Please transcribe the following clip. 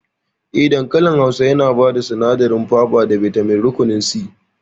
Eh, dankali Hausa yana bada sinadarin faba da bitamin rukunin C